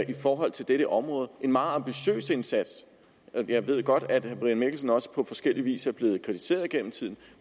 i forhold til dette område en meget ambitiøs indsats jeg ved godt at herre brian mikkelsen også på forskellig vis er blevet kritiseret gennem tiden